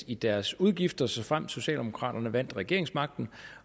i deres udgifter såfremt socialdemokraterne vandt regeringsmagten